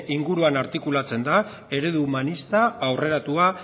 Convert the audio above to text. inguruan artikulatzen da eredu humanista aurreratua